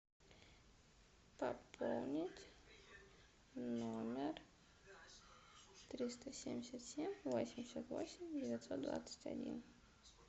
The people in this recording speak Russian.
пополнить номер триста семьдесят семь восемьдесят восемь девятьсот двадцать один